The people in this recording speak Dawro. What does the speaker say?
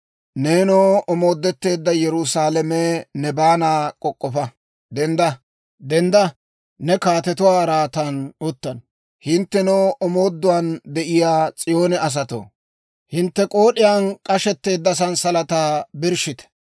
Neenoo, omoodetteedda Yerusaalame, ne baanaa k'ok'k'ofa. Denddaade ne kaatetuwaa araatan utta. Hinttenoo, omoodduwaan de'iyaa S'iyoone asatoo, hintte k'ood'iyaan k'ashetteedda sansalataa birshshite.